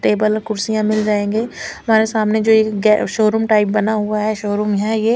table कुर्सियां मिल जाएगे हमारे सामने जो एक शोरूम टाइप बना हुआ है शोरूम है ये--